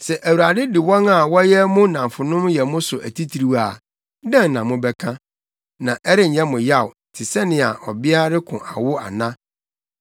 Sɛ Awurade de wɔn a wɔyɛ mo nnamfonom yɛ mo so atitiriw a, dɛn na mobɛka? Na ɛrenyɛ mo yaw te sɛnea ɔbea ɔreko awo ana?